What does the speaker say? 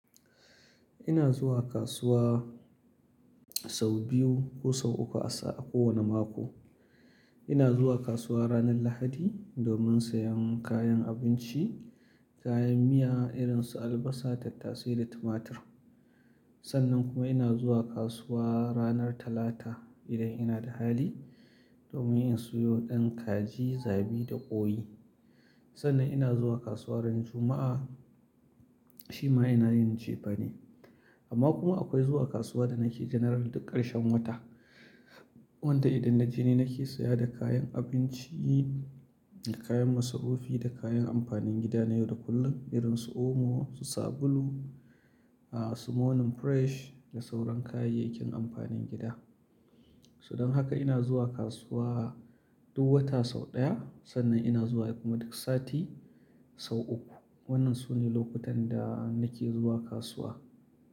Ina zuwa kasuwa sau biyu ko sau uku a sa-- a kowane mako. Ina zuwa kasuwa ranar Lahadi domin sayan kayan abinci, kayan miya irin su albasa, tattasai da tumatur. Sannan kuma ina zuwa kasuwa ranar Talata idan ina da hali domin yin siyo ɗan kaji, zabi da ƙoyi. Sannan ina zuwa kasuwa ran Juma'a, shi ma ina yince ba ne. Amma kuma akwai zuwa kasuwa da nake general duk ƙarshen wata. Wanda idan na je ni nake saya da kayan abinci da kayan masaufi da kayan amfanin gida na yau da kullum irin su omo, su sabulu, ah, su monin fresh da sauran kayayyakin amfanin gida. Sudan haka ina zuwa kasuwa duk wata sau ɗaya sannan ina zuwa kuma duk sati sau uku. Wannan sune lokutan da nake zuwa kasuwa.